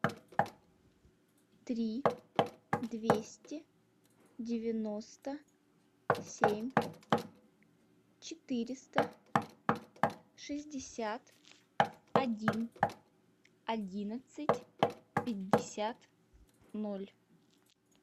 три двести девяносто семь четыреста шестьдесят один одиннадцать пятьдесят ноль